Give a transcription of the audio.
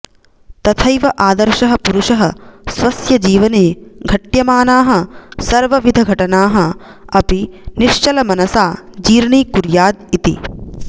तथैव आदर्शः पुरुषः स्वस्य जीवने घट्यमानाः सर्वविधघटनाः अपि निश्चलमनसा जीर्णीकुर्याद् इति